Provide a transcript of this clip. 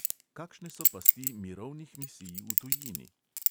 Kakšne so pasti mirovnih misij v tujini?